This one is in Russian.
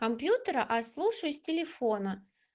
компьютера а слушаюсь телефона